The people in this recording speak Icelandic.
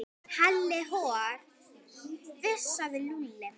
Halli hor fussaði Lúlli.